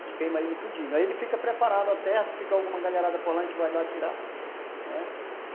A gente queima ele tudinho, aí ele fica preparado a terra, se ficar alguma galharada por lá a gente vai lá tirar, né